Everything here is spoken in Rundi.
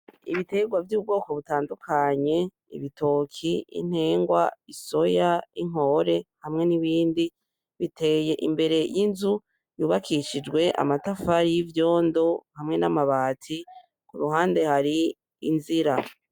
Ibiterwa vy'ubwoko butandukanye, ibitoki, intengwa, isoya, inkore hamwe n'ibindi. Biteye imbere y'inzu yubakishijwe amatafari y'ivyondo hamwe n'amabati, kuruhande hari inzira.